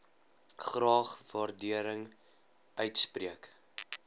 graag waardering uitspreek